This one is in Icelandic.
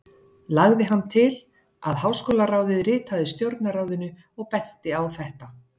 Lagði hann til, að háskólaráðið ritaði Stjórnarráðinu og benti á þetta.